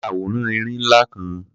Ya àwòrán erin ńlá kan.